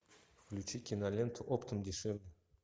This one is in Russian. включи киноленту оптом дешевле